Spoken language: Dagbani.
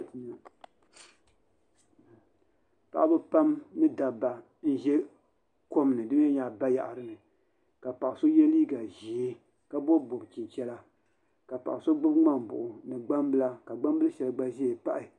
Paɣaba pam ni dabba n ʒɛ kom ni di mii nyɛla bayaɣati ka paɣa so yɛ liiga ʒiɛ ka bob bob chichɛla ka paɣa so gbubi ŋmani buɣu ni gbambila ka gbambili shɛli gba ʒɛ n paɣi